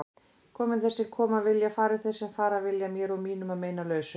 Komi þeir sem koma vilja, fari þeir sem fara vilja, mér og mínum að meinalausu.